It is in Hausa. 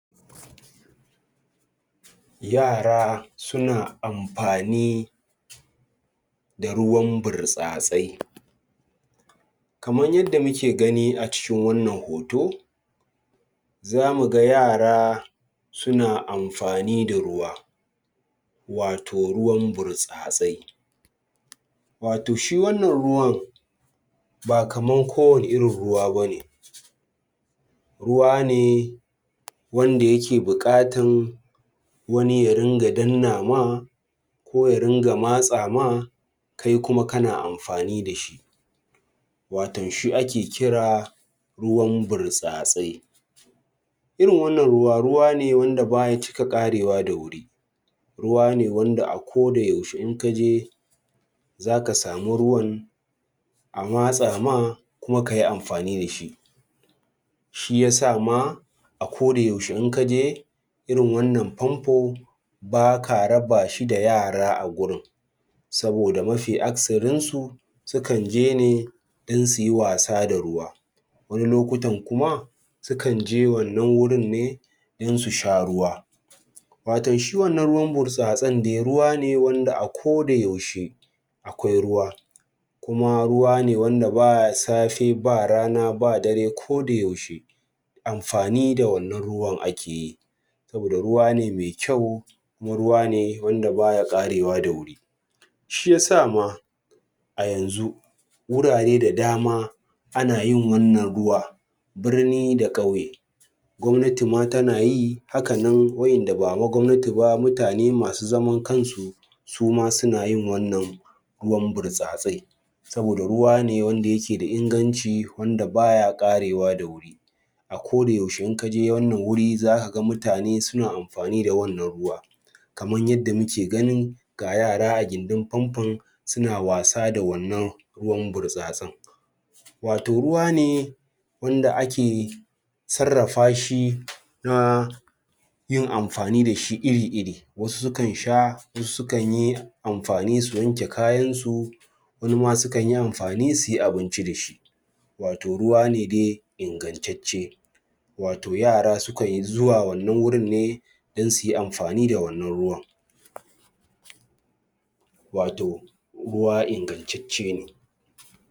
Yara suna amfani da ruwan burtsatsai kamar yadda muke gani a cikin wannan hoto zamu ga yara suna amfani da ruwa wato ruwan burtsatsai wato shi wannan ruwan ba kamar kowane irin ruwa ba ne, ruwa ne wanda yake buƙatan wani ya ringa danna ma ko ya ringa matsa ma kai kuma kana amfani da shi, watan shi ake kira ruwan burtsatsai irin wannan ruwa, ruwa ne wanda baya cika ƙarewa da wuri ruwa ne wanda a koda yaushe in ka je zaka samu ruwan a matsa ma kuma ka yi amfani da shi shi yasa ma a koda yaushe in ka je irin wannan famfo baka raba shi da yara a gurin saboda mafi aksarin su sukan je ne don su yi wasa da ruwa wani lokutan kuma sukan je wannan wurin ne don su sha ruwa Watan shi wannan ruwan burtsatsen de ruwa ne wanda a koda yaushe akwai ruwa kuma ruwa ne wanda baya safe, ba rana, ba dare koda yaushe amfani da wannan ruwan ake yi saboda ruwa ne mai kyau kuma ruwa ne wanda baya ƙarewa da wuri shi yasa ma a yanzu wurare da dama ana yin wannan ruwa birni da ƙauye gwamnati ma tana yi haka nan wa’inda bama gwamnati ba, mutane masu zaman kansu su ma suna yin wannan ruwan birtsatse saboda ruwa ne wanda yake da ingancin wanda baya ƙarewa da wur a koda yaushe in ka je wannan guri zaka ga mutane suna amfani aada wannan ruwa kamar yadda muke ganin ga yara a gindin famfon suna wasa da wannan ruwan burtsatsen wato ruwa ne wanda ake sarrafa shi na yin amfani da shi iri-iri wasu sukan sha wasu sukan yi amfani su wanke kayansu wani ma sukan yi amfani su yi abinci da shi wato ruwa ne de ingancacce wato yara sukan yi zuwa wannan wurin ne don su yi amfani da wannan ruwan wato ruwa ingancacce ne